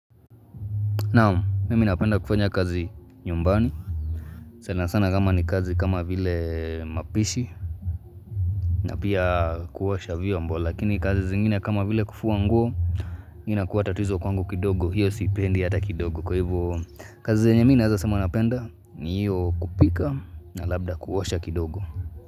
Naam, mimi napenda kufanya kazi nyumbani, sana sana kama ni kazi kama vile mapishi na pia kuosha vyombo, lakini kazi zingine kama vile kufua nguo, nina kuwa tatizo kwangu kidogo, hiyo siipendi hata kidogo, kwa hivo kazi zingine mimi nawezasema napenda ni hiyo kupika na labda kuosha kidogo.